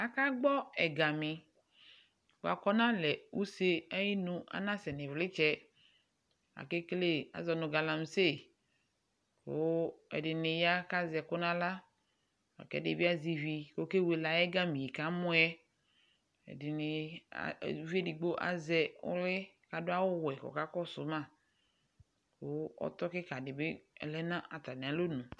Akagbɔ ɛgami bʋa kʋ ɔnalɛ use ayinu, anasɛ nʋ ɩvlɩtsɛ Akekele, azɔ nʋ galamise kʋ ɛdɩnɩ ya kʋ azɛ ɛkʋ nʋ aɣla la kʋ ɛdɩ bɩ azɛ ivi kʋ ɔkewele ayʋ ɛgami yɛ bʋa kʋ amʋ yɛ Ɛdɩnɩ a uvi edigbo azɛ ɔlʋ kʋ adʋ awʋwɛ kʋ ɔkakɔsʋ ma kʋ ɔtɔ kɩka dɩ bɩ lɛ nʋ atamɩalɔnu